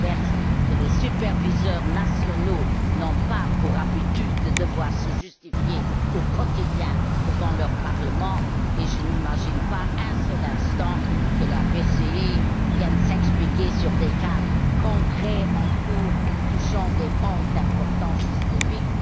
Lamberts que les superviseurs nationaux n'ont pas pour habitude de devoir se justifier, au quotidien, devant leur parlement, et je n'imagine pas un seul instant que la Banque centrale européenne vienne s'expliquer sur des cas concrets, en cours, touchant des banques d'importance systémique.